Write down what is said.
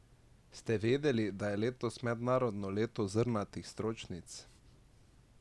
Ste vedeli, da je letos mednarodno leto zrnatih stročnic?